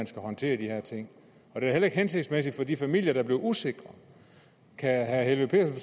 skal håndtere de her ting det er heller ikke hensigtsmæssigt for de familier der bliver usikre kan herre helveg